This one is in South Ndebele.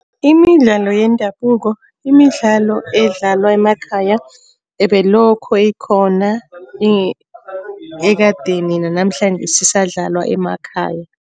Imidlalo yendabuko, imidlalo edlalwa emakhaya ebelokho ikhona ekadeni nanamhlanjesi isadlalwa emakhaya.